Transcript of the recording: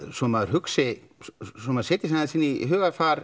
svo maður maður setji sig aðeins inn í hugarfar